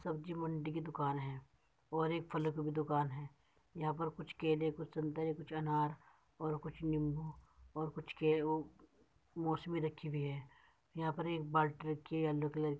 सब्जी मंडी की दुकान है और एक फलों की भी दुकान है यहां पर कुछ केले कुछ संतरे कुछ अनार और कुछ निम्बू और कुछ के उ मोसमी रखी हुई है यहां पर एक बाल्टी रखी है येल्लो कलर की --